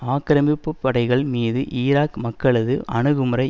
ஆக்கிரமிப்புப்படைகள் மீது ஈராக் மக்களது அணுகுமுறை